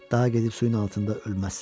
Daha gedib suyun altında ölməz.